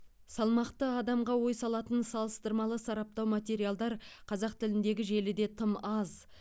салмақты адамға ой салатын салыстырмалы сараптау материалдар қазақ тіліндегі желіде тым аз